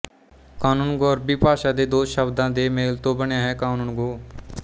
ਕਾਨੂੰਗੋ ਅਰਬੀ ਭਾਸ਼ਾ ਦੇੇ ਦੋ ਸ਼ਬਦਾਂ ਦੇੇ ਮੇਲ ਤੋਂ ਬਣਿਆ ਹੈ ਕਾਨੂੰਨ ਗੋ